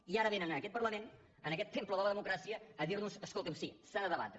i ara vénen a aquest parlament en aquest temple de la democràcia a dir·nos escoltin sí s’ha de debatre